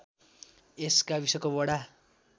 यस गाविसको वडा